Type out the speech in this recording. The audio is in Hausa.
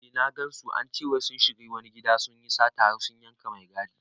Eh na gansu, ance wai sun shiga wani gida sunyi sata har sun yanka mai gadi